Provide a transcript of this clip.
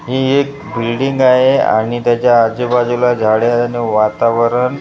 हि एक बिल्डिंग आहे आणि त्याच्या आजूबाजूला झाडं आहे आणि वातावरण--